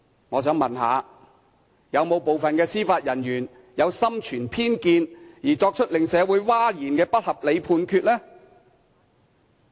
我想問，是否有部分司法人員心存偏見而作出令社會譁然的不合理判決呢？